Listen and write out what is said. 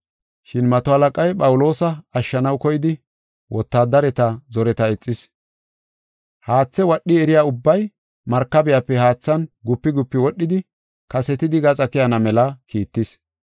Shin mato halaqay Phawuloosa ashshanaw koyidi wotaadareta zoreta ixis. Haathe wadho eriya ubbay markabiyape haathan gupi gupi wodhidi kasetidi gaxa keyana mela kiittis.